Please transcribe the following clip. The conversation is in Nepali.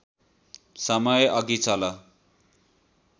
समयमा अघि चल